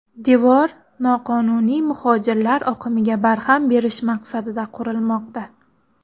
Devor noqonuniy muhojirlar oqimiga barham berish maqsadida qurilmoqda.